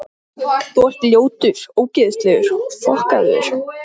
Guð geymi þig, þín, Ásdís.